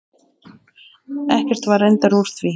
Ekkert var reyndar úr því.